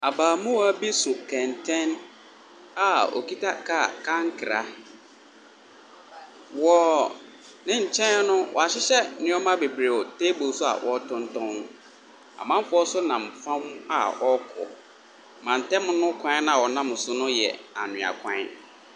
Abaamua bi so kɛntɛn a okita kaa kankra. Wɔ ne nkyɛn no, wɔahyehyɛ nneɛma bebree wɔ table so a wɔretontɔn. Mamfoɔ nso nam fam a wɔrekɔ. Mantam ne kwan a ɔnam so no yɛ anwea kwan.